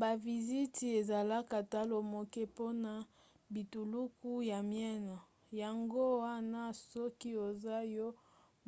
baviziti ezalaka talo moke mpona bituluku ya miene yango wana soki oza yo